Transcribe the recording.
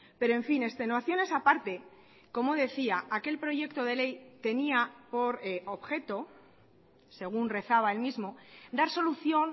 pero en fin extenuaciones aparte como decía aquel proyecto de ley tenía por objeto según rezaba el mismo dar solución